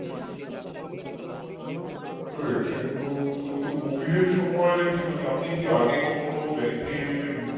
তো covid এর সময় আপনি কি কখনো bank এ physically